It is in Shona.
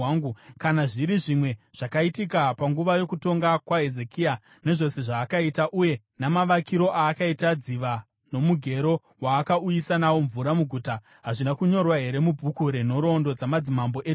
Kana zviri zvimwe zvakaitika panguva yokutonga kwaHezekia, nezvose zvaakaita uye namavakiro aakaita dziva nomugero waakauyisa nawo mvura muguta, hazvina kunyorwa here mubhuku renhoroondo dzamadzimambo eJudha?